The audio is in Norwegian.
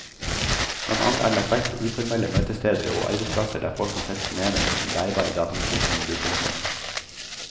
Blant annet er det lagt vekt på uformelle møtesteder, og arbeidsplasser der folk kan sette seg ned med sin bærbare datamaskin og mobiltelefon.